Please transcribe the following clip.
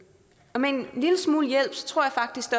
og med en lille smule hjælp tror jeg faktisk